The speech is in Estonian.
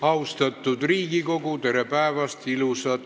Austatud Riigikogu, tere päevast!